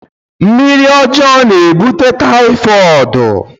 mmiri ọjọọ na-ebute typhoid